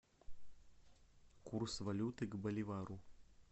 курс валюты к боливару